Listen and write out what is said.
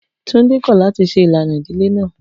Tunde kọ lati ṣe ilana idile naa.